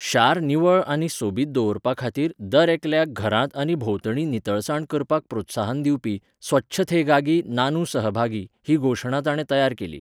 शार निवळ आनी सोबीत दवरपा खातीर दरेकल्याक घरांत आनी भोंवतणी नितळसाण करपाक प्रोत्साहन दिवपी 'स्वच्छथेगागी नानू सहभागी' ही घोशणा ताणें तयार केली .